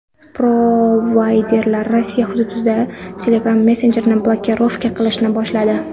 Provayderlar Rossiya hududida Telegram messenjerini blokirovka qilishni boshladi.